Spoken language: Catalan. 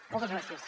moltes gràcies